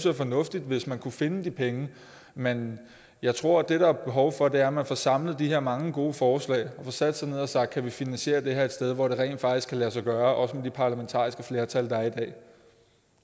er fornuftigt hvis man kunne finde de penge men jeg tror at det der er behov for er at man får samlet de her mange gode forslag og får sat sig ned og sagt kan vi finansiere det her et sted hvor det rent faktisk kan lade sig gøre også med det parlamentariske flertal